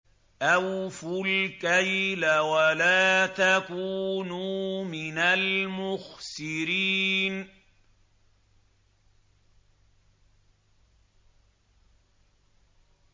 ۞ أَوْفُوا الْكَيْلَ وَلَا تَكُونُوا مِنَ الْمُخْسِرِينَ